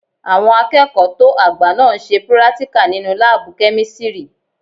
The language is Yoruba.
Àwọn akẹ́kọ̀ọ́ tó àgbà náà n ṣe púrátíkà nínu láàbù-kẹ́mísírì